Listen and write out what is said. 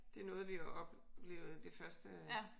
Det er noget vi har oplevet det første